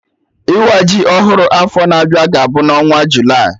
Ịwa ji ọhụrụ afọ na-abịa ga-abụ na onwa Julaị